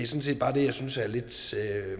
set bare det jeg synes er lidt